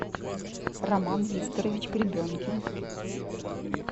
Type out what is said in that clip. роман викторович гребенкин